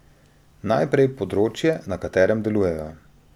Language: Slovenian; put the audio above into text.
Najprej področje, na katerem delujejo.